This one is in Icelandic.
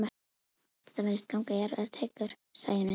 Þetta virðist ganga í erfðir, tekur Sæunn undir.